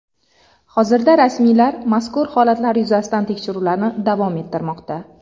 Hozirda rasmiylar mazkur holatlar yuzasidan tekshiruvlarni davom ettirmoqda.